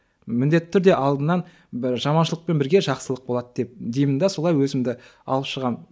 міндетті түрде алдынан бір жаманшылықпен бірге жақсылық болады деп деймін де солай өзімді алып шығамын